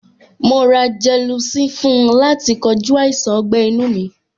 Mo ra gelocin fún láti kojú àìsàn ọgbẹ́-inu mi.